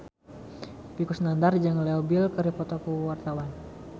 Epy Kusnandar jeung Leo Bill keur dipoto ku wartawan